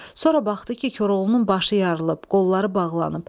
Sonra baxdı ki, Koroğlunun başı yarılıb, qolları bağlanıb.